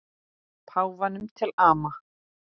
Páfanum til ama.